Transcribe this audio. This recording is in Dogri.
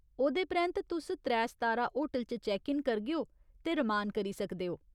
ओह्‌दे परैंत्त तुस त्रै सातारा होटल च चैक्क इन करगेओ ते रमान करी सकदे ओ।